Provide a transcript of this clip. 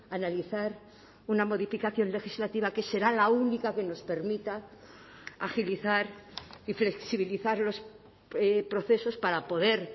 analizar una modificación legislativa que será la única que nos permita agilizar y flexibilizar los procesos para poder